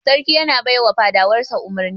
Sarki yana bai wa fadawar sa umurni.